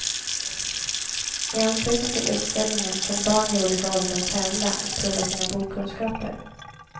I anslutning till utställningen kan barn i olika åldrar tävla och prova sina bokkunskaper.